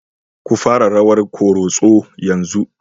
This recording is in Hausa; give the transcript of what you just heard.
Ku fara rawan Koroso yanzu!